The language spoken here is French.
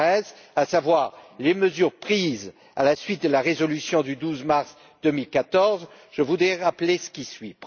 Moraes, à savoir les mesures prises à la suite de la résolution du 12 mars 2014. Je voudrais rappeler ce qui suit.